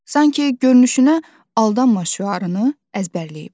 Sanki görünüşünə aldanma şüarını əzbərləyib.